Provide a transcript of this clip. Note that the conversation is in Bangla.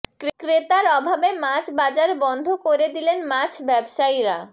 ক্রেতার অভাবে মাছ বাজার বন্ধ করে দিলেন মাছ ব্যবসায়ীরা